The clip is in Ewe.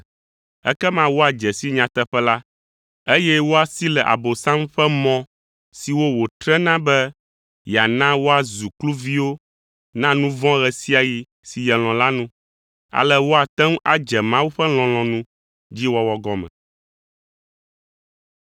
Ekema woadze si nyateƒe la, eye woasi le Abosam ƒe mɔ siwo wotrena be yeana woazu kluviwo na nu vɔ̃ ɣe sia ɣi si yelɔ̃ la nu; ale woate ŋu adze Mawu ƒe lɔlɔ̃nu dzi wɔwɔ gɔme.